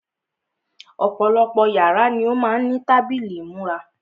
Ọ̀pọ̀lọpọ̀ yàrá ni ó má ń ní tábìlì ìmúra.